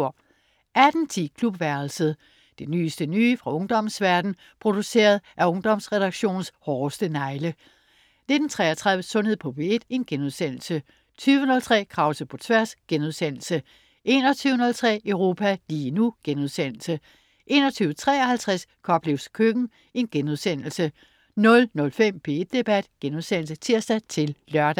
18.10 Klubværelset. Det nyeste nye fra ungdommens verden, produceret af Ungdomsredaktionens hårdeste negle 19.33 Sundhed på P1* 20.03 Krause på Tværs* 21.03 Europa lige nu* 21.53 Koplevs køkken* 00.05 P1 Debat* (tirs-lør)